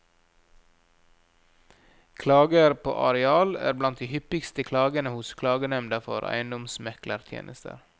Klager på areal er blant de hyppigste klagene hos klagenemnda for eiendomsmeklertjenester.